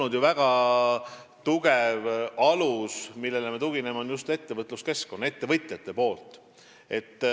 See on väga tugev alus, millele me tugineme.